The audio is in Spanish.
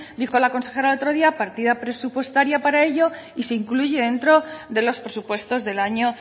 dijo la consejera el otro día partida presupuestaria para ello y se incluye dentro de los presupuestos del año